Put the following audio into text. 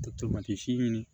Tomati siɲini